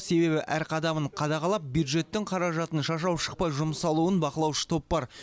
себебі әр қадамын қадағалап бюджеттің қаражатын шашау шықпай жұмсалуын бақылаушы топ бар